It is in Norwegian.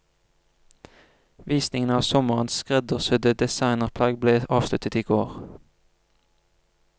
Visningene av sommerens skreddersydde designerplagg ble avsluttet i går.